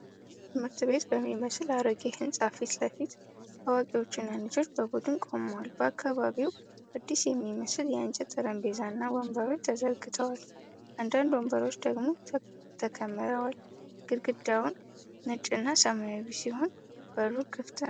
ትምህርት ቤት በሚመስል አሮጌ ሕንፃ ፊት ለፊት አዋቂዎችና ልጆች በቡድን ቆመዋል። በአካባቢው አዲስ የሚመስሉ የእንጨት ጠረጴዛዎችና ወንበሮች ተዘርግተዋል፤ አንዳንድ ወንበሮች ደግሞ ተከምረዋል። ግድግዳው ነጭና ሰማያዊ ሲሆን፣ በሩ ክፍት ነው።